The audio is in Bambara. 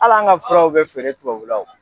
Hal'an ka furaw bɛ feere tubabula o.